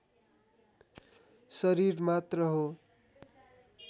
शरीर मात्र हो।